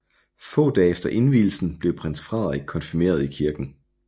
Få dage efter indvielsen blev Prins Frederik konfirmeret i kirken